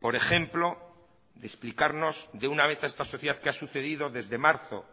por ejemplo de explicarnos de una vez a esta sociedad qué ha sucedido desde marzo